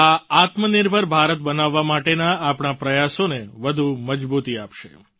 આ આત્મનિર્ભર ભારત બનાવવા માટેના આપણા પ્રયાસોને વધુ મજબૂતી આપશે